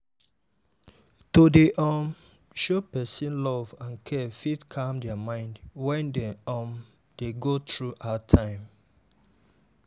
to dey um show person love and care fit calm their mind when dem um dey go through hard time.